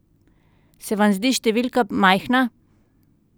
Se vam zdi številka majhna?